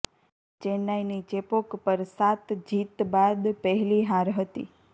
ચેન્નાઇની ચેપોક પર સાત જીત બાદ પહેલી હાર હતી